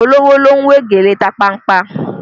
Olówó ló ń we gèlè tapanpa